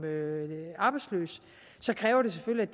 arbejdsløs kræver det selvfølgelig at